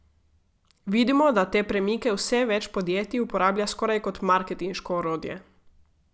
Vidimo, da te premike vse več podjetij uporablja skoraj kot marketinško orodje.